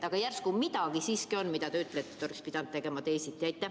Aga järsku midagi siiski on, mille kohta te ütlete, et seda oleks pidanud tegema teisiti?